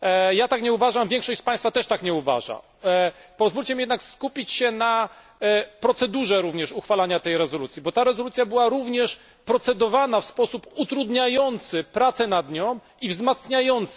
Ja tak nie uważam, większość z Państwa też tak nie uważa. Pozwólcie mi jednak skupić się również na procedurze uchwalania tej rezolucji, bo ta rezolucja była również procedowana w sposób utrudniający prace nad nią i prace ją wzmacniające.